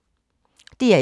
DR1